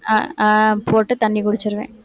அஹ் அஹ் போட்டு தண்ணி குடிச்சிருவேன்.